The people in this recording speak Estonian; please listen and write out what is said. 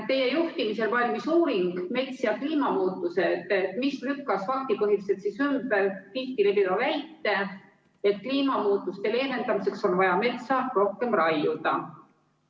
Teie juhtimisel valmis uuring "Mets ja kliimamuutused", mis lükkas faktipõhiliselt ümber tihti kõlava väite, et kliimamuutuste leevendamiseks on vaja metsa rohkem raiuda.